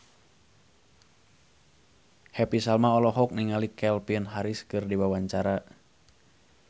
Happy Salma olohok ningali Calvin Harris keur diwawancara